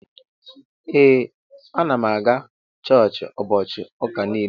Ee anam aga chọọchi ubochi uka nile.